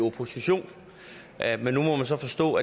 opposition men nu må man så forstå